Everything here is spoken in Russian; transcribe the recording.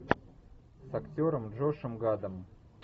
с актером джошем гадом